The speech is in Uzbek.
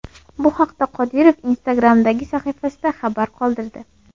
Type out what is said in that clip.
Bu haqda Qodirov Instagram’dagi sahifasida xabar qoldirdi .